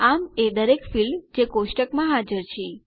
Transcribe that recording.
આમ એ દરેક ફીલ્ડ જે કોષ્ટકમાં હાજર છે